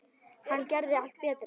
Hann gerði allt betra.